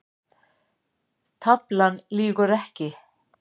Taflan lýgur ekki